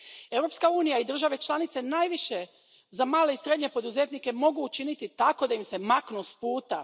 Europska unija i države članice najviše za male i srednje poduzetnike mogu učiniti tako da im se maknu s puta.